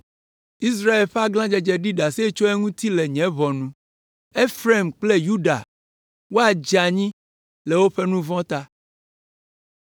Israel ƒe aglãdzedze ɖi ɖase tso eŋuti le nye ʋɔnu. Efraim kple Yuda woadze anyi le woƒe nu vɔ̃ ta.